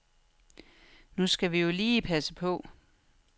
Nu skal vi jo lige passe på.